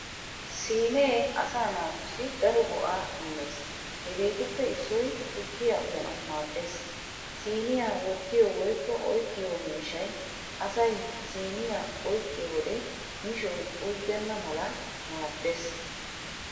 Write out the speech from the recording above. Siinee asaa naatussi daro go'aa immees hegeetuppe issoy tukkiyaa uyanawu maaddees. Siiniyaa wottiyo woykko oykkiyo miishshay asay siiniyaa oykkiyo wode mishoy xuuggenna mala maaddees.